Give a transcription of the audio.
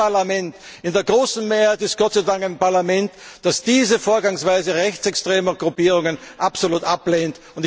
Dieses Parlament ist in der großen Mehrheit Gott sei Dank ein Parlament, das diese Vorgangsweise rechtsextremer Gruppierungen absolut ablehnt.